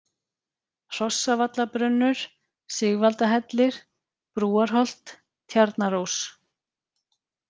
Hrossavallarbrunnur, Sigvaldahellir, Brúarholt, Tjarnarós